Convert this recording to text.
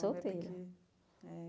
Solteira.